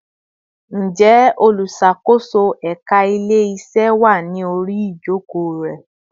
Ǹjẹ́ olùṣàkóso ẹka ile-iṣe wá ní orí ijoko re